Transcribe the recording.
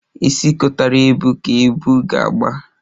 Isi kotara ebu ka ebu ga-agba